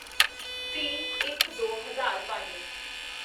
ਤੀਹਇੱਕਦੋ ਹਜ਼ਾਰ ਪੰਜ